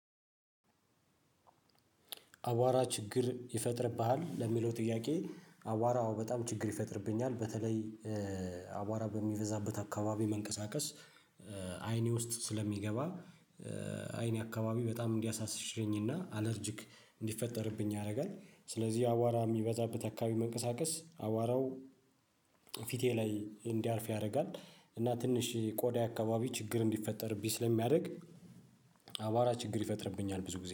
አቧራ ችግር ይፈጥርብሃል? ለሚለው ጥያቄ አቧራ አዎ በጣም ችግር ይፈጥርብኛል። በተለይ አቧራ በሚበዛበት አካባቢ መንቀሳቀስ አይኔ ውስጥ ስለሚገባ። አይኔ አካባቢ በጣም እንዲያሳሸኝና አለርጅክ እንዲፈጠርብኝ ያደርጋል። ስለዚህ አቧራ የሚበዛበት አካባቢ መንቀሳቀስ አቧራው ፊቴ ላይ እንዲያልፍ ያደርጋል እና ትንሽ ቆዳ አካባቢ ችግር እንዲፈጠርብኝ ስለሚያደርግ። አቧራ ችግር ይፈጥርብኛል ብዙ ጊዜ